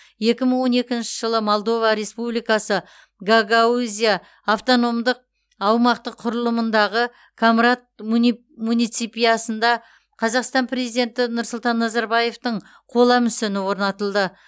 екі мың он екінші жылы молдова республикасы гагаузия автономдық аумақтық құрылымындағы комрат муни муниципиясында қазақстан президенті нұрсұлтан назарбаевтың қола мүсіні орнатылды